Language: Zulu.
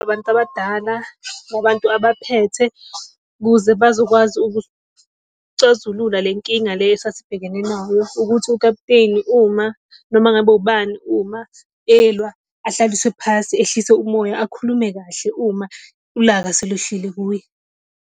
abantu abadala, abantu abaphethe kuze bazokwazi ukusicazula le nkinga le esasibhekene nayo ukuthi ukaputeni uma, noma ngabe ubani uma elwa ahlaliswe phasi, ehlise umoya, akhulume kahle uma ulaka selwehlile kuye.